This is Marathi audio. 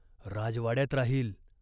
राजवाड्यात राहील.